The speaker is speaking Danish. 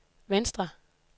venstre